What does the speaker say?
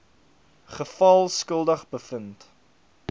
geval skuldig bevind